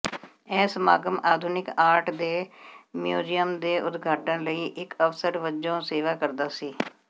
ਇਹ ਸਮਾਗਮ ਆਧੁਨਿਕ ਆਰਟ ਦੇ ਮਿਊਜ਼ੀਅਮ ਦੇ ਉਦਘਾਟਨ ਲਈ ਇਕ ਅਵਸਰ ਵਜੋਂ ਸੇਵਾ ਕਰਦਾ ਸੀ